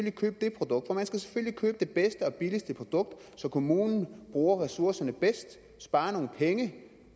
ikke købe det produkt for man skal selvfølgelig købe det bedste og billigste produkt så kommunen bruger ressourcerne bedst sparer nogle penge